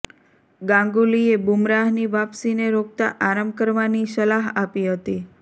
ગાંગુલીએ બુમરાહની વાપસીને રોકતા આરામ કરવાની સલાહ આપી હતી